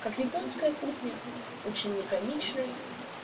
как японская кухня очень лаконичная